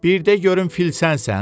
Bircə görüm fil sənsən?